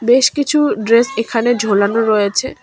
বেশ কিছু ড্রেস এখানে ঝোলানো রয়েছে।